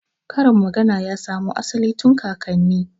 Karin magana ya samo asali tun kakanni